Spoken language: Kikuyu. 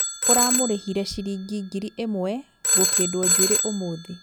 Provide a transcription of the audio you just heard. ũramũrĩhire chiringi ngiri ĩmwe gĩkĩndwo njuĩri ũmũthĩ